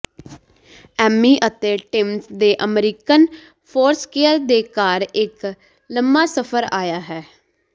ਐਮੀ ਅਤੇ ਟਿਮਸ ਦੇ American Foursquare ਦੇ ਘਰ ਇੱਕ ਲੰਮਾ ਸਫ਼ਰ ਆਇਆ ਹੈ